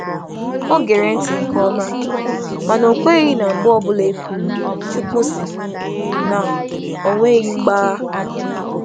Ọ̀ nụrụ nke ọma, ma ọ bụghị okwu ọ bụla a sị na “Chukwu sị” ka ọ were dị ka eziokwu gbara akaebe.